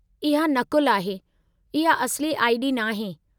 इहा नक़ुलु आहे, इहा असली आई.डी. नाहे।